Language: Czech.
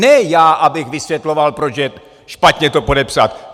Ne já abych vysvětloval, proč je špatně to podepsat.